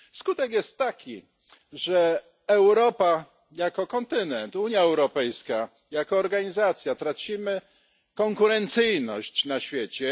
Skutek jest taki, że Europa jako kontynent, Unia Europejska jako organizacja tracą konkurencyjność na świecie.